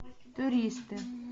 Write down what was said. туристы